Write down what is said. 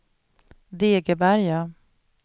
Degeberga